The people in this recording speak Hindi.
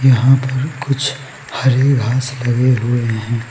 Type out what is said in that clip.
यहां पर कुछ हरे घास लगे हुए हैं।